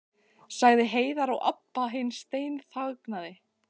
sagði Heiða og Abba hin steinþagnaði.